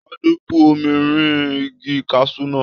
Tade bú omi rìn igi kasu náà.